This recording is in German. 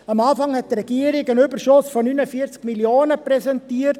Am Anfang hat die Regierung einen Überschuss von 49 Mio. Franken präsentiert.